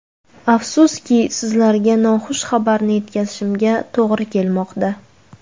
Afsuski, sizlarga noxush xabarni yetkazishimga to‘g‘ri kelmoqda.